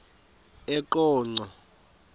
eqonco